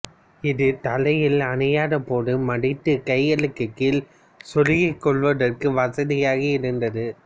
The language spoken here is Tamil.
இது தலையில் அணியாதபோது மடித்துக் கைகளுக்குக் கீழ் சொருகிக் கொள்வதற்கு வசதியாக இருந்தது